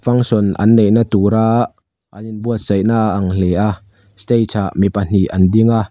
function an neihna tura an in buaitsaih na a ang hle a stage ah mi pahnih an ding a.